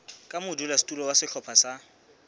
ka modulasetulo wa sehlopha sa